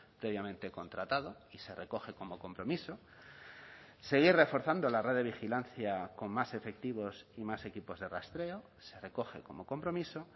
previamente contratado y se recoge como compromiso seguir reforzando la red de vigilancia con más efectivos y más equipos de rastreo se recoge como compromiso